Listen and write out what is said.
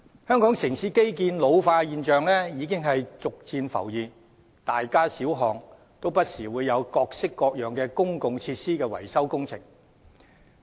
香港城市基建老化的現象已逐漸浮現，大街小巷不時會有各式各樣的公共設施維修工程。